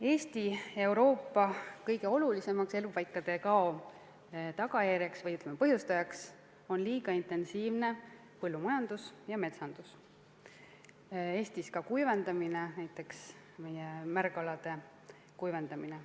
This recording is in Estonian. Eesti ja kogu Euroopa kõige olulisem elupaikade kao põhjustaja on liiga intensiivne põllumajandus ja metsandus, Eestis ka kuivendamine, näiteks meie märgalade kuivendamine.